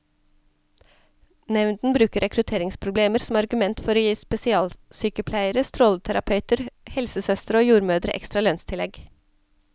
Nevnden bruker rekrutteringsproblemer som argument for å gi spesialsykepleiere, stråleterapeuter, helsesøstre og jordmødre ekstra lønnstillegg.